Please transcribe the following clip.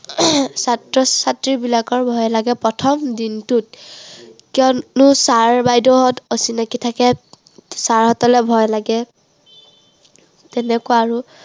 ছাত্ৰ-ছাত্ৰীবিলাকৰ ভয় লাগে প্ৰথম দিনটোত। কিয়নো sir বাইদেউহঁত অচিনাকি থাকে sir হঁতলে ভয় লাগে। তেনেকুৱা আৰু